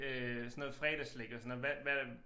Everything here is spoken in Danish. Øh sådan noget fredagsslik og sådan noget hvad hvad